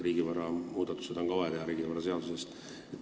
Riigivaraga seotud muudatused on ju vaja teha ka riigivaraseaduses.